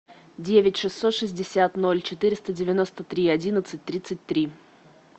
девять шестьсот шестьдесят ноль четыреста девяносто три одиннадцать тридцать три